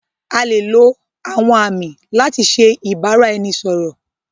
A lè lo àwọn àmì láti ṣe ìbáraẹnisọ̀rọ̀.